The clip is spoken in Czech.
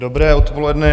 Dobré odpoledne.